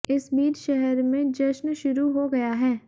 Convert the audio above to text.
इस बीच शहर में जश्न शुरु हाे गया है